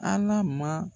Ala ma